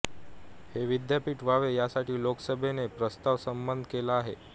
हे विद्यापीठ व्हावे यासाठी लोकसभेने प्रस्ताव संमत केला आहे